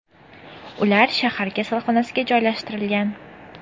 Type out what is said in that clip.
Ular shahar kasalxonasiga joylashtirilgan.